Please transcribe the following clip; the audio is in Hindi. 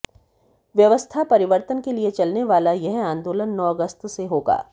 व्यवस्था परिवर्तन के लिए चलने वाला यह आंदोलन नौ अगस्त से होगा